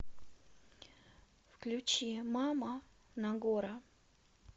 включи мама нагора